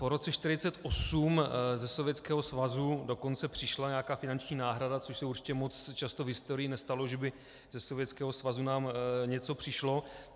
Po roce 1948 ze Sovětského svazu dokonce přišla nějaká finanční náhrada, což se určitě moc často v historii nestalo, že by ze Sovětského svazu nám něco přišlo.